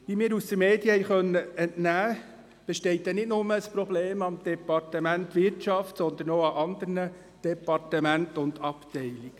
Wie wir den Medien entnehmen konnten, besteht nicht nur ein Problem im Departement Wirtschaft, sondern auch in anderen Departementen und Abteilungen.